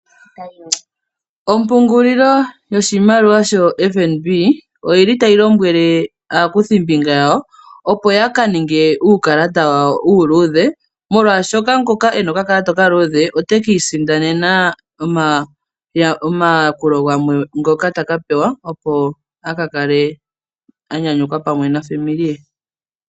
Ompungulilo yoshimaliwa shoFNB otayi lombwele aakuthimbinga yawo ya ka ninge uukalata wawo uuluudhe, molwashoka ngoka e na okakalata okaluudhe ota ka isindanena omayakulo gamwe ngoka ta ka pewa, opo a ka kale a nyanyukwa pamwe naakwanezimo ye.